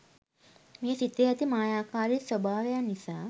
මේ සිතේ ඇති මායාකාරී ස්වභාවයන් නිසා